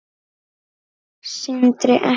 Sindri: Ekki?